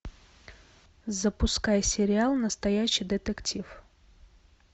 запускай сериал настоящий детектив